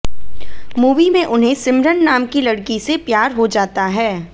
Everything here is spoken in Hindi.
मूवी में उन्हें सिमरन नाम की लड़की से प्यार हो जाता है